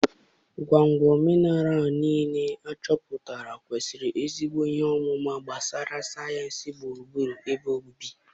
Ńgwóǹgwó mineral ńiilé áchọpụtàrà kwésịrị èzigbò ị́he ọmụma gbasara sayensị gbụrụ-gbúrụ ébé òbibi.